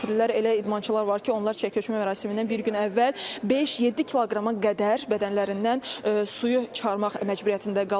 Elə idmançılar var ki, onlar çəki ölçmə mərasimindən bir gün əvvəl 5-7 kiloqrama qədər bədənlərindən suyu çıxarmaq məcburiyyətində qalırlar.